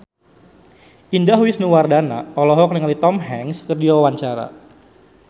Indah Wisnuwardana olohok ningali Tom Hanks keur diwawancara